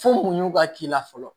Fo u ɲugu ka k'i la fɔlɔ